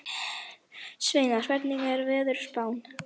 Sveinar, hvernig er veðurspáin?